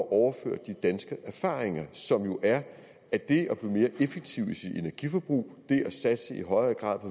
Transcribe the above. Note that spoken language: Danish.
at overføre de danske erfaringer som jo er at det at blive mere effektiv i sit energiforbrug at i højere grad